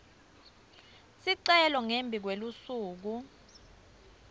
sicelo ngembi kwelusuku